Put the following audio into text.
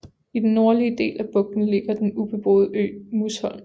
I den nordlige del af bugten ligger den ubeboede ø Musholm